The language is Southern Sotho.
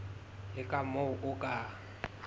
le ka moo o ka